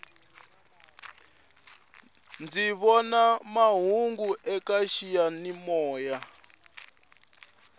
ndzi vona mahungu eka xiyani moya